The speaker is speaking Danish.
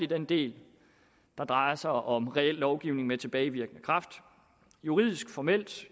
den del der drejer sig om reel lovgivning med tilbagevirkende kraft juridisk formelt